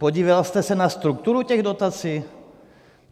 Podíval jste se na strukturu těch dotací?